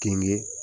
Denkɛ